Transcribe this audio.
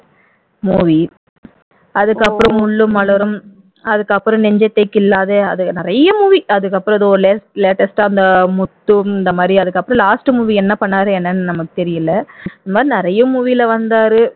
movie அதுக்கப்புறம் முள்ளும் மலரும் அதுக்கப்புறம் நெஞ்சத்தை கிள்ளாதே அது நிறைய movie அதுக்கப்புறம் ஏதோ latest ஆ இந்த முத்து இந்த மாதிரி அதுக்கப்புறம் last movie என்ன பண்ணாரு என்னன்னு நமக்கு தெரியல இந்த மாதிரி நிறைய movie ல வந்தாரு